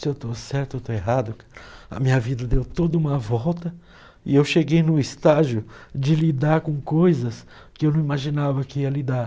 Se eu estou certo ou estou errado, a minha vida deu toda uma volta e eu cheguei no estágio de lidar com coisas que eu não imaginava que ia lidar.